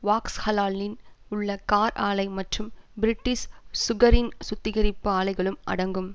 வாக்ஸ்ஹலாலின் உள்ள கார் ஆலை மற்றும் பிரிட்டிஷ் சுகரின் சுத்திகரிப்பு ஆலைகளும் அடங்கும்